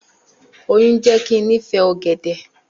Oyun jẹ ki n nifẹ ogede.